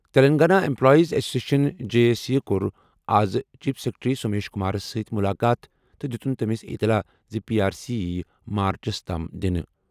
Telangana employees association J A C کوٚر آز chief secretary Somesh کُمارس سۭتۍ مُلاقات تہٕ دِتُن تٔمِس اِطلاع زِ پی آر سی یِیہِ مارچس تام دِنہٕ